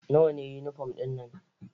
Nawa ne yunifom ɗin nan?